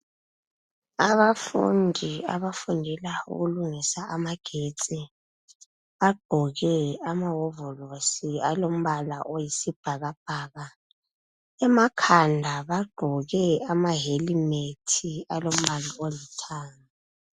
Abafundi abafundela ukulungisa amagetsi. Bagqoke amahovolosi alombala oyisibhakabhaka. Emakhanda bagqoke amahelimethi, alombala olithanga.